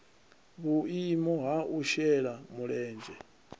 vhuimo ha u shela mulenzhe